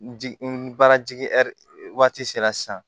N jigin n baarajigi ɛri waati sera sisan